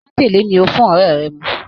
Májèlé ni ó fún ọ̀rẹ́ rẹ̀ mu.